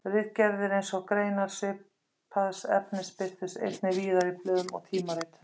Ritgerðir hans og greinar svipaðs efnis birtust einnig víðar í blöðum og tímaritum.